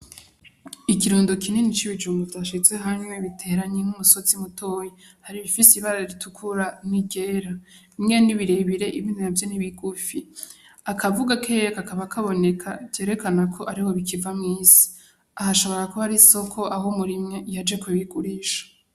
Ikirundo kinini c’ibijumbu vyashizwe hamwe biteranye nk’umusozi mutoyi bifise ibara ritukura n’iryera , bimwe ni birebire ibindi navyo ni bigufi . Akavu gakeyi kakaba kaboneka Vyerekana yuko kiva mw’isi. Aho ushobora kuba ari isoko Aho umurimyi yaje kubigurisha.